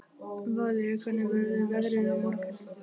Valería, hvernig verður veðrið á morgun?